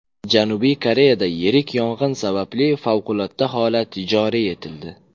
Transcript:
Janubiy Koreyada yirik yong‘in sababli favqulodda holat joriy etildi.